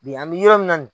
Bi an bɛ yɔrɔ min na